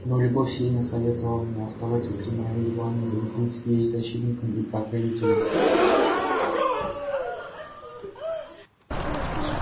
но любовь сильно советовала мне оставаться при марье ивановне и быть ей защитником и покровителем